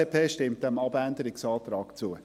Die FDP stimmt diesem Abänderungsantrag zu.